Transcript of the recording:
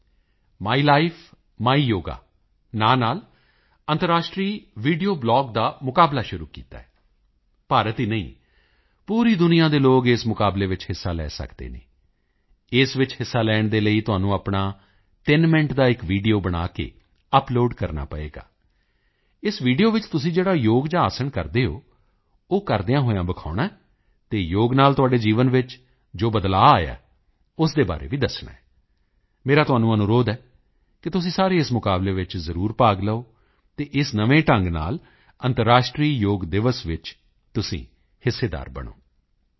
ਆਯੁਸ਼ ਮੰਤਰਾਲੇ ਨੇ my life my yoga ਨਾਮ ਨਾਲ ਅੰਤਰਰਾਸ਼ਟਰੀ ਵੀਡੀਓ ਬਲੌਗ ਦਾ ਮੁਕਾਬਲਾ ਸ਼ੁਰੂ ਕੀਤਾ ਹੈ ਭਾਰਤ ਹੀ ਨਹੀਂ ਪੂਰੀ ਦੁਨੀਆ ਦੇ ਲੋਕ ਇਸ ਮੁਕਾਬਲੇ ਵਿੱਚ ਹਿੱਸਾ ਲੈ ਸਕਦੇ ਹਨ ਇਸ ਵਿੱਚ ਹਿੱਸਾ ਲੈਣ ਦੇ ਲਈ ਤੁਹਾਨੂੰ ਆਪਣਾ 3 ਮਿੰਟ ਦਾ ਇੱਕ ਵੀਡੀਓ ਬਣਾ ਕੇ ਅਪਲੋਡ ਕਰਨਾ ਪਵੇਗਾ ਇਸ ਵੀਡੀਓ ਵਿੱਚ ਤੁਸੀਂ ਜਿਹੜਾ ਯੋਗ ਜਾਂ ਆਸਣ ਕਰਦੇ ਹੋ ਉਹ ਕਰਦਿਆਂ ਹੋਇਆਂ ਦਿਖਾਉਣਾ ਹੈ ਅਤੇ ਯੋਗ ਨਾਲ ਤੁਹਾਡੇ ਜੀਵਨ ਵਿੱਚ ਜੋ ਬਦਲਾਅ ਆਇਆ ਹੈ ਉਸ ਦੇ ਬਾਰੇ ਵੀ ਦੱਸਣਾ ਹੈ ਮੇਰਾ ਤੁਹਾਨੂੰ ਅਨੁਰੋਧ ਹੈ ਕਿ ਤੁਸੀਂ ਸਾਰੇ ਇਸ ਮੁਕਾਬਲੇ ਵਿੱਚ ਜ਼ਰੂਰ ਭਾਗ ਲਓ ਅਤੇ ਇਸ ਨਵੇਂ ਢੰਗ ਨਾਲ ਅੰਤਰਰਾਸ਼ਟਰੀ ਯੋਗ ਦਿਵਸ ਵਿੱਚ ਤੁਸੀਂ ਹਿੱਸੇਦਾਰ ਬਣੋ